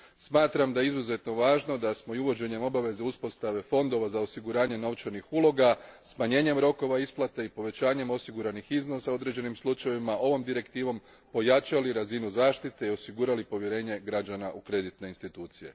Smatram da je izuzetno važno da smo i uvođenjem obaveza uspostave fondova za osiguranje novčanih uloga, smanjenjem rokova isplate i povećanjem osiguranih iznosa u određenim slučajevima ovom direktivom pojačali razinu zaštite i osigurali povjerenje građana u kreditne institucije.